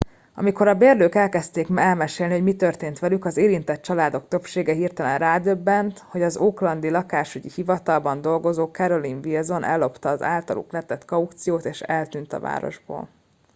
amikor a bérlők elkezdték elmesélni hogy mi történt velük az érintett családok többsége hirtelen rádöbbent hogy az oaklandi lakásügyi hivatalban dolgozó carolyn wilson ellopta az általuk letett kauciót és eltűnt a városból